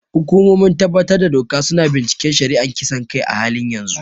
Hukumomin tabbatar da doka su na binciken shari'ar kisan kai a halin yanzu.